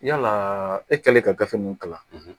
Yala e kɛlen ka gafe ninnu kalan